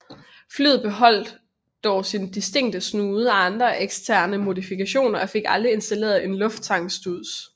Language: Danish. Flyet beholdte dog sin distinkte snude og andre eksterne modifikationer og fik aldrig installeret en lufttankningsstuds